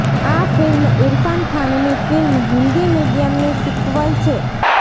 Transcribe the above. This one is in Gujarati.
આ ફિલ્મ ઈરફાન ખાનની ફિલ્મ હિન્દી મીડિયમની સીક્વલ છે